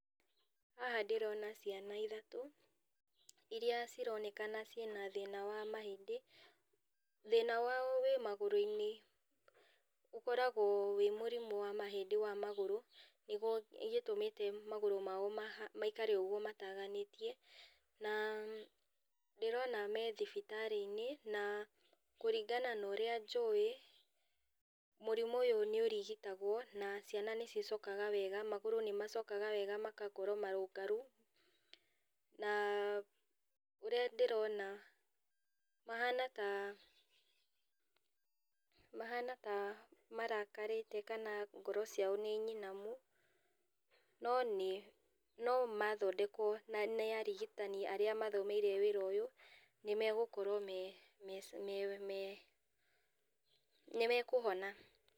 Haha ndĩrona ciana ithatũ, irĩa cironekana ciĩna thĩna wa mahĩndĩ. Thĩna wao wĩ magũrũ-inĩ, ũkoragwo wĩ mũrimũ wa mahĩndĩ wa magũrũ, nĩguo gĩtũmĩte magũrũ mao maikare ũguo mataganĩtie. Na ndĩrona me thibitar-inĩ na kũringana na ũrĩa njũĩ, mũrimũ ũyũ nĩ ũrigitagũo na ciana nĩ cicokaga wega, magũrũ magacoka wega magakorwo marũngaru na ũrĩa ndĩrona, mahana ta, mahana ta marakarĩte kana ngoro ciao nĩ nyimanu, no mathondekwo nĩ arigitani arĩa mathomeire wĩra ũyũ nĩ megũkorwo me, Pause nĩ mekũhona.